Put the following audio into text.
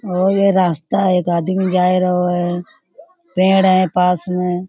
और यह रास्ता एक आदमी जा रहो है। पेड़ हैं पास में --